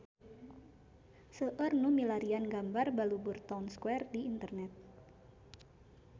Seueur nu milarian gambar Balubur Town Square di internet